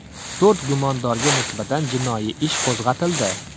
To‘rt gumondorga nisbatan jinoiy ish qo‘zg‘atildi.